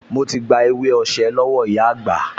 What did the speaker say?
Mo ti gba ewé osè lọ́wọ́ ìyá àgbà